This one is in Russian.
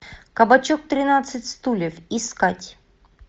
кабачок тринадцать стульев искать